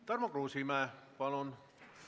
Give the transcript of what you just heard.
Tarmo Kruusimäe, palun!